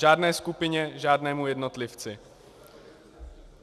Žádné skupině, žádnému jednotlivci.